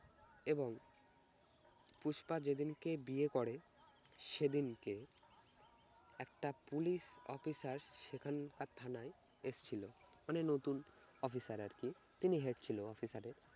এবং পুষ্পা যেদিনকে বিয়ে করে সেদিন কে একটা পুলিশ officer সেখানকার থানায় এসছিল মানে নতুন officer আর কি তিনি head ছিল officer এর